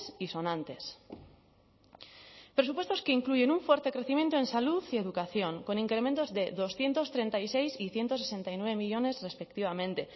y sonantes presupuestos que incluyen un fuerte crecimiento en salud y educación con incrementos de doscientos treinta y seis y ciento sesenta y nueve millónes respectivamente